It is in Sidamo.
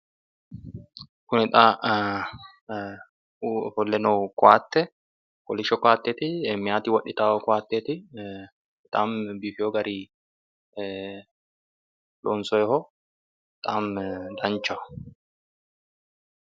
Kuni xa ofolle noohu koatte kolisho koatteeti, meyaati wodhita koatteeti, bexaami biifeewo garinni loonsoyeho, bexaami danchaho.